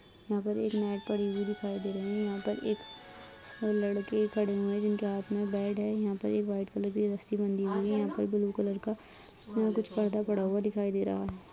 यहां पर एक नाइफ पड़ी हुई दिखाई दे रही है| यहां पर एक लड़के खड़े हुए हैं जिनके हाथ में बेड है| यहाँ पर एक वाइट कलर की रस्सी बंधी हुई है| यहाँ पे ब्लू कलर का यहाँ कुछ पर्दा पड़ा हुआ दिखाई दे रहा है|